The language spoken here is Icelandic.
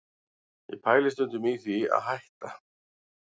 Ég pæli stundum í því að hætta